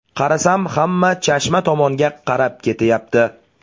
Qarasam, hamma Chashma tomonga qarab ketyapti.